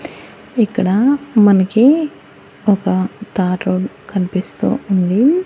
ఇక్కడ మనకి ఒక తారోల్ కనిపిస్తూ ఉంది.